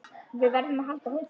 Við verðum að halda hópinn!